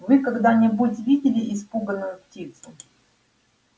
вы когда-нибудь видели испуганную птицу